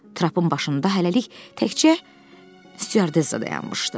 Trapın başında hələlik təkcə styardessa dayanmışdı.